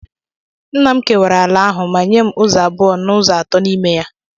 Nna m kewara ala ahụ ma nye m ụzọ abụọ n'ụzọ atọ n'ime ya.